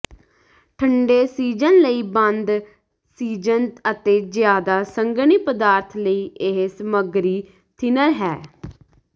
ਠੰਡੇ ਸੀਜ਼ਨ ਲਈ ਬੰਦ ਸੀਜ਼ਨ ਅਤੇ ਜ਼ਿਆਦਾ ਸੰਘਣੀ ਪਦਾਰਥ ਲਈ ਇਹ ਸਮੱਗਰੀ ਥਿਨਰ ਹੈ